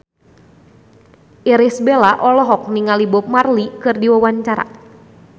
Irish Bella olohok ningali Bob Marley keur diwawancara